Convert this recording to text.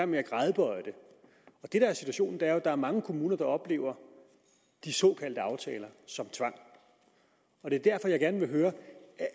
med at gradbøje dem situationen er jo at der er mange kommuner der oplever de såkaldte aftaler som tvang og det er derfor at jeg gerne vil høre